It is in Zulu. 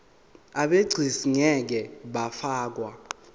abegcis ngeke bafakwa